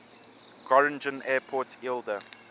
groningen airport eelde